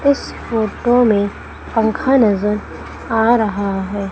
इस फोटो में पंखा नजर आ रहा है।